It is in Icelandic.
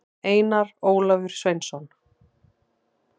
einar ólafur sveinsson